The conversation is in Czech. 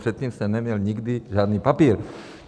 Předtím jsem neměl nikdy žádný papír.